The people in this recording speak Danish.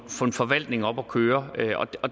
forvaltning op at køre